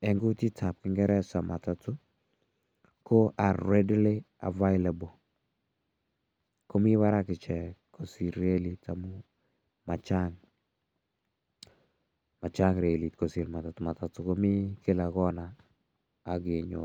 eng' kutit ap kingeresa matatu ko (ce)are readily available. Ko mi parak ichek kosir relit amu ma chang', ma chang' relit kosir matatu. Matatu komi kila konait ak kenyoru.